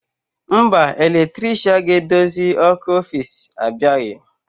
Mba, eletrisha ga-edozi ọkụ ọfici abịabeghị.